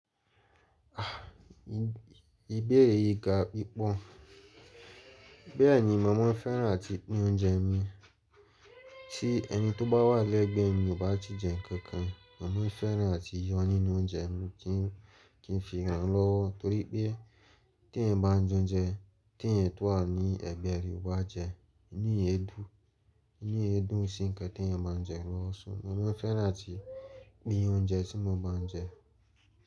A! Ìbéèrè yìí ga pípọ́n. Bẹ́ẹ̀ni, mọ̀ mọ́ fẹ́ràn àti pín oúnjẹ mi. Tí ẹni tó bá wà lẹ́gbẹ̀ẹ́ mi kò bá ti jẹ nkankan, mọ̀ mọ́ fẹ́ràn àti yọ nínú oúnjẹ mi kí n fi ràn lọ́wọ́ torí pé tí ènìyàn bá jẹ oúnjẹ, tí ènìyàn tó wà ní ẹ̀gbẹ́ rẹ ò bá jẹ, ìní èédú, ìní èé dún n sí nkán tí ènìyàn bá n jẹ lọ́wọ́, mọ̀ mọ́ fẹ́ràn àti pín oúnjẹ tí mo bá n jẹ.